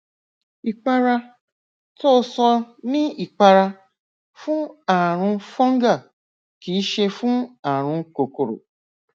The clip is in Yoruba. ìpara tó o sọ ni ipara fún ààrùn fungal kìí ṣe fún ààrùn kòkòrò